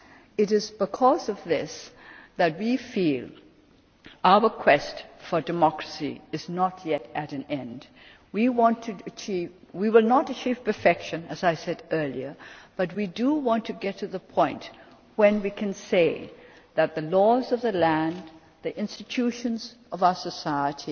It is because of this that we feel that our quest for democracy is not yet at an end. We will not achieve perfection, as I said earlier, but we do want to get to the point where we can say that the laws of the land and the institutions of our society